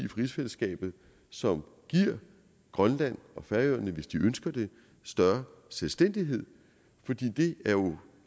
rigsfællesskabet som giver grønland og færøerne hvis de ønsker det større selvstændighed for det er jo